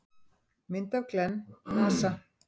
Mynd af Glenn: NASA.